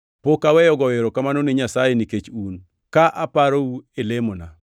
pok aweyo goyo erokamano ni Nyasaye nikech un, ka aparou e lemona.